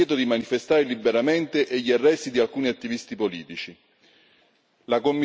Preoccupano il divieto di manifestare liberamente e gli arresti di alcuni attivisti politici.